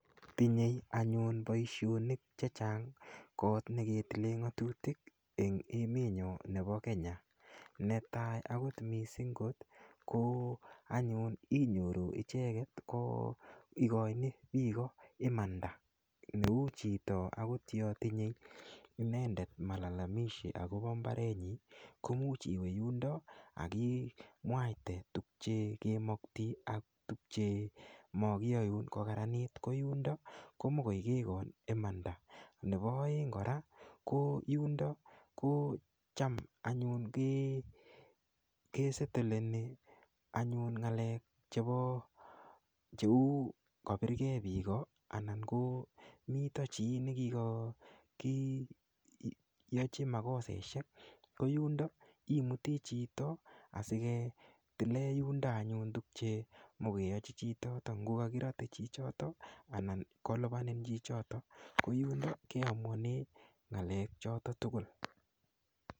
Tinye anyun Baishonik chechang kot nekeyilen ngatutik en emeniyon Nebo Kenya netai akot mising ko anyun inyoru icheket igoi imanda Neu Chito akot akotinye inendet malalamishi akoba imbarenyun komuch iwe yundon akimwaite tuguk chekimakingei ak tuguk chemakiyae kokaranit koyundon komakoigei imanda Nebo aeng kora ko yundon kochamanyun kosetoleni ak anyun ngalek ab chebo cheu kabirgei Biko anan komiten chi nikiyochin makosaishek koyundon imuti Chito asiketilen yundo tubchet nikiyochin Chito kokakirate chichiton anan kolubanji Chito akoyunon kelubani choton tugul